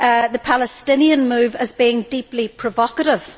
the Palestinian move as being deeply provocative.